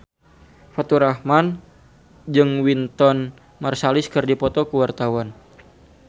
Faturrahman jeung Wynton Marsalis keur dipoto ku wartawan